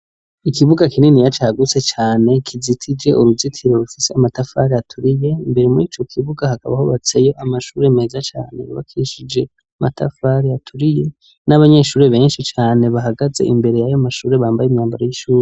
Ikibuga kininiya cagutse cane kizitije uruzitiro rufise amatafari aturiye, imbere murico kibuga hakaba hubatseyo amashuri meza cane yubakishije amatafari aturiye n'abanyeshuri benshi cane bahagaze imbere y'ayo mashuri bambaye imyambaro y'ishuhuri.